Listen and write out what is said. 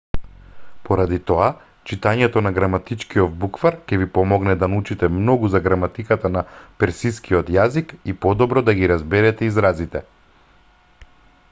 поради тоа читањето на граматичкиов буквар ќе ви помогне да научите многу за граматиката на персискиот јазик и подобро да ги разберете изразите